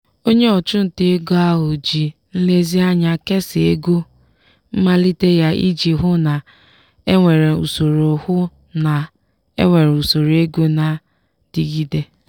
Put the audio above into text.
onye ọchụnta ego ahụ ji nlezianya kesaa ego mmalite ya iji hụ na-enwere usoro hụ na-enwere usoro ego na-adịgide.